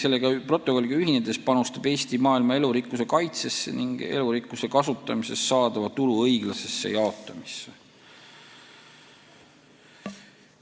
Selle protokolliga ühinedes panustab Eesti maailma elurikkuse kaitsesse ning elurikkuse kasutamisest saadava tulu õiglasesse jaotamisse.